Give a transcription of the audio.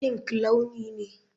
Pink launi ne.